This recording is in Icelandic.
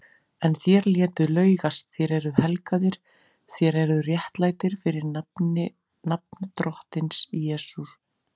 En þér létuð laugast, þér eruð helgaðir, þér eruð réttlættir fyrir nafn Drottins Jesú